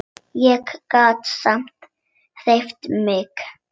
Ég get samt hreyft mig.